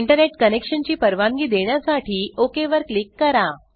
internet connection ची परवानगी देण्यासाठी ओक वर क्लिक करा